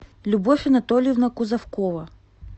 любовь анатольевна кузовкова